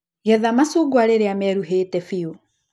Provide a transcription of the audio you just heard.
Getha macungwa rĩria meruhĩte biũ.